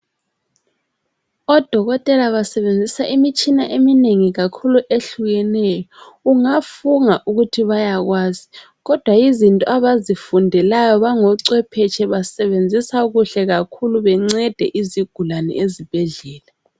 Odokotela basebenzisa imitshina eminengi kakhulu ehlukeneyo ungafunga ukuthi bayakwazi kodwa yizinto abazifundelayo bangocwephetshi basebenzisa kuhle kakhulu bencede izigulane ezibhedlela.